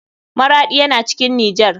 Maraɗi yana cikin nijar.